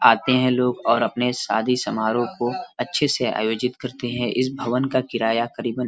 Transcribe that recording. आते है लोग और अपने शादी समारोह को अच्छे से आयोजित करते है इस भवन का किराया करीबन --